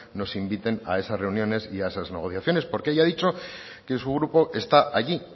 nos inviten a esas reuniones y a esas negociaciones porque ella ha dicho que su grupo está allí